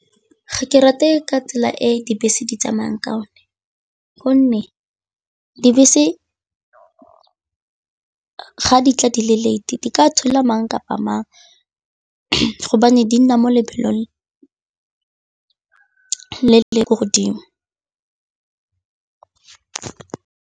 Ga ke rate ka tsela e dibese di tsamaya ka yone gonne dibese ga di tla di le late-e di ka thula la mang kapa mang gobane di nna mo lebelong le le ko godimo.